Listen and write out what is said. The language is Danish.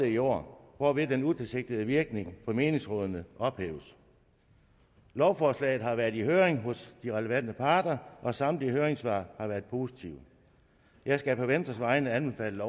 i år hvorved den utilsigtede virkning for menighedsrådene ophæves lovforslaget har været i høring hos de relevante parter og samtlige høringssvar har været positive jeg skal på venstres vegne anbefale